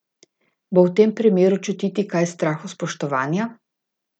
Bo v tem primeru čutiti kaj strahospoštovanja?